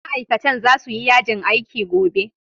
Ma'aikatan za su yi yajin aiki gobe.